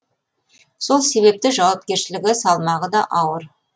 сол себепті жауапкершілігі салмағы да ауыр